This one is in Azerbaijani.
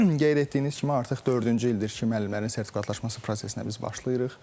Qeyd etdiyiniz kimi, artıq dördüncü ildir ki, müəllimlərin sertifikatlaşması prosesinə biz başlayırıq.